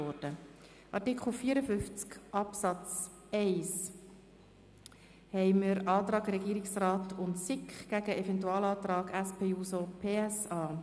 Zu Artikel 54 Absatz 1: Hier haben wir einen Antrag Regierungsrat und SiK gegen den Eventualantrag SP-JUSO-PSA.